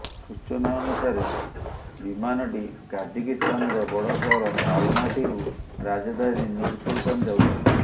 ସୂଚନା ଅନୁସାରେ ବିମାନଟି କାଜାଖସ୍ତାନର ବଡ଼ ସହର ଅଲମାଟୀରୁ ରାଜଧାନୀ ନୁର୍ ସୁଲତାନ ଯାଉଥିଲା